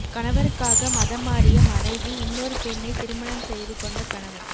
கணவருக்காக மதம் மாறிய மனைவி இன்னொரு பெண்ணை திருமணம் செய்து கொண்ட கணவன்